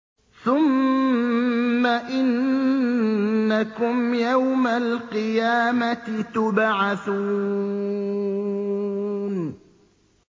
ثُمَّ إِنَّكُمْ يَوْمَ الْقِيَامَةِ تُبْعَثُونَ